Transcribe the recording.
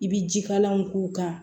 I bi jikalanw k'u kan